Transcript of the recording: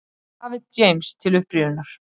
Um David James til upprifjunar: